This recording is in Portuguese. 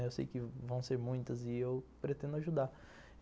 Eu sei que vão ser muitas e eu pretendo ajudar.